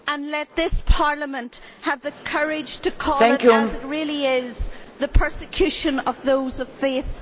let this Parliament have the courage to call it as it really is the persecution of those of faith.